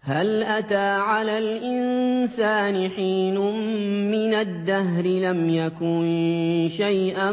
هَلْ أَتَىٰ عَلَى الْإِنسَانِ حِينٌ مِّنَ الدَّهْرِ لَمْ يَكُن شَيْئًا